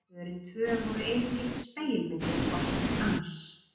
Pörin tvö voru einungis spegilmyndir hvort annars